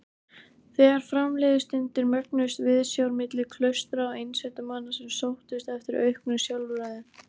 Þegar fram liðu stundir mögnuðust viðsjár milli klaustra og einsetumanna sem sóttust eftir auknu sjálfræði.